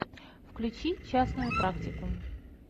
включи частную практику